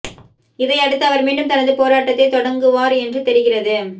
இதையடுத்து அவர் மீண்டும் தனது போராட்டத்தைத் தொடங்குவார் என்று தெரிகிறது